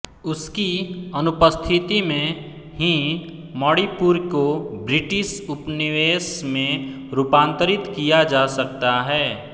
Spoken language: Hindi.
उसकी अनुपस्थिति में ही मणिपुर को ब्रिटिश उपनिवेश में रूपांतरित किया जा सकता है